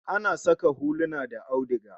Ana saka huluna da auduga